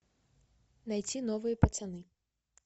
найти новые пацаны